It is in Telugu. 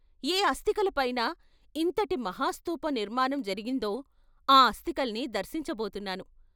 ' ఏ అస్థికల పైన ఇంతటి మహాస్థూప నిర్మాణం జరిగిందో ఆ అస్తికల్ని దర్శించబోతున్నాను.